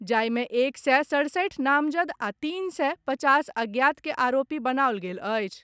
जाहि मे एक सय सड़सठ नामजद आ तीन सय पचास अज्ञात के आरोपी बनाओल गेल अछि।